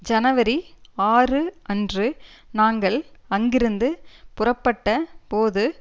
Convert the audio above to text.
ஜனவரி ஆறு அன்று நாங்கள் அங்கிருந்து புறப்பட்ட போது